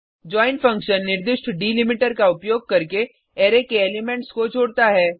join function निर्दिष्ट delimiter का उपयोग करके अरै के एलिमेंट्स को जोडता है